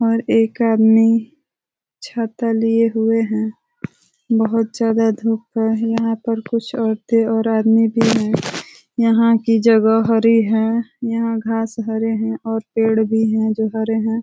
और एक आदमी छाता लिए हुए है। बहुत ज्यादा धुप। यहाँ पर कुछ औरते और आदमी भी हैं। यहाँ की जगह हरी है। यहाँ घास हरे हैं और पेड़ भी हैं जो हरे हैं।